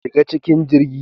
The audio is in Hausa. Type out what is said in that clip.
Shiga cikin jirgi.